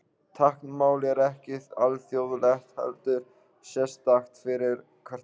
Táknmál er ekki alþjóðlegt heldur sérstakt fyrir hvert land.